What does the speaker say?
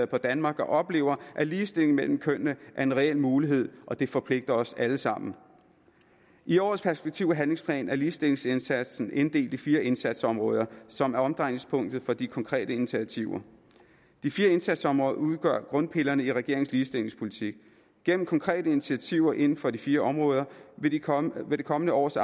på danmark og oplever at ligestilling mellem kønnene er en reel mulighed og det forpligter os alle sammen i årets perspektiv og handlingsplan er ligestillingsindsatsen inddelt i fire indsatsområder som er omdrejningspunktet for de konkrete initiativer de fire indsatsområder udgør grundpillerne i regeringens ligestillingspolitik gennem konkrete initiativer inden for de fire områder vil det kommende kommende års